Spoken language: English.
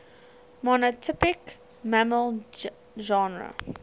monotypic mammal genera